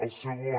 el segon